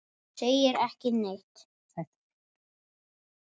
Þú segir ekki neitt.